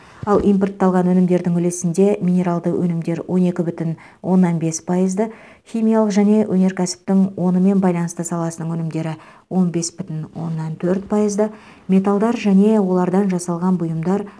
ал импортталған өнімдердің үлесінде минералды өнімдер он екі бүтін оннан бес пайызды химиялық және өнеркәсіптің онымен байланысты саласының өнімдері он бес бүтін оннан төрт пайызды металдар және олардан жасалған бұйымдар